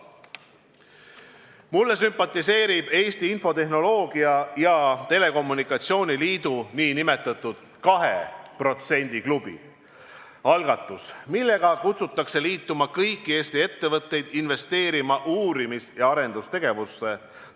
Mulle sümpatiseerib Eesti Infotehnoloogia ja Telekommunikatsiooni Liidu nn 2% klubi – algatus, millega kutsutakse liituma kõiki Eesti ettevõtteid investeerimaks uurimis- ja arendustegevusse.